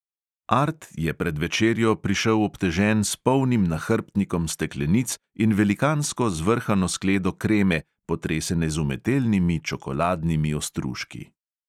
Art je pred večerjo prišel obtežen s polnim nahrbtnikom steklenic in velikansko zvrhano skledo kreme, potresene z umetelnimi čokoladnimi ostružki.